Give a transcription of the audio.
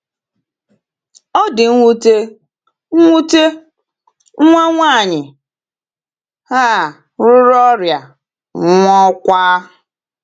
O di nwute, nwute, nwa nwaanyị a ruru ọrịa, nwụọkwa.